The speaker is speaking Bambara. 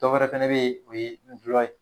Dɔ wɛrɛ fɛnɛ be ye o ye ngulɔ ye